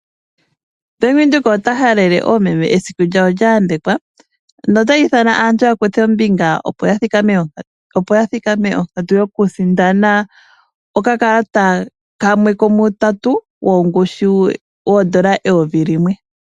Bank Windhoek ota halele oomeme esiku lyawo lya yambekwa . Ota ithana aantu yakuthe ombinga . Opo ya mone ompito yoku sindana oka kalata kamwe komuutatu wongushu yoodola eyovi limwe.